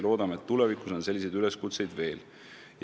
Loodetavasti tulevikus on selliseid üleskutseid veel.